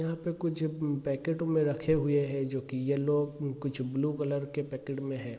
यहाँ पे कुछ म पैकेट में रखे हुए हैं जो की येलो कुछ ब्लू कलर के पैकेट में है।